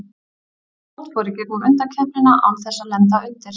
Spánn fór í gegnum undankeppnina án þess að lenda undir.